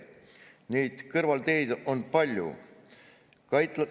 Neid kõrvalteid on palju.